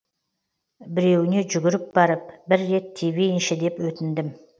біреуіне жүгіріп барып бір рет тебейінші деп өтіндім